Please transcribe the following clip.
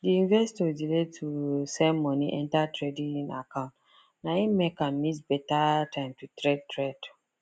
d investor delay to send money enter trading account na him make am miss better time to trade trade